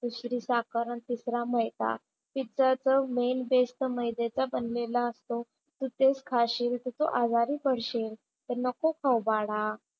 दुसरी साखर आणि तिसरा मैदा. पिझ्झाचं मेन बेस तर मैद्याचा बनलेला असतो. तू तेच खाशील तर तू आजारी पडशील, तर नको खाऊ बाळा.